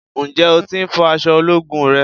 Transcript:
Ǹjẹ́ o tí ń fọ àsọ ológun rẹ?